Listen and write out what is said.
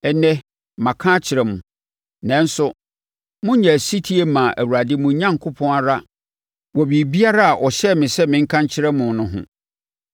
Ɛnnɛ, maka akyerɛ mo, nanso monyɛɛ ɔsetie mmaa Awurade mo Onyankopɔn ara wɔ biribiara a ɔhyɛɛ me sɛ menka nkyerɛ mo no ho.